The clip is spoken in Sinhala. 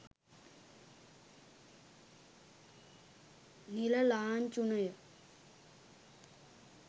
නිල ලාංඡුනය